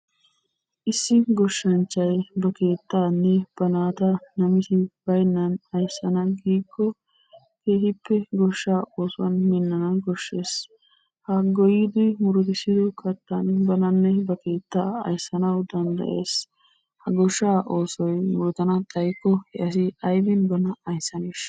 Issi goshshanchay ba keettaanne ba naata namisi baynnan ayssana giikko keehippe goshshaa oosuwan minnana koshshees. Ha goyyidi murutissido kattan bananne ba keettaa ayssanawu danddayees. Ha goshshaa oosoy murutana xayikko he asi aybi bana ayssaneeshsha?